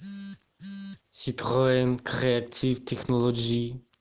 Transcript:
ситроен креатив технолоджи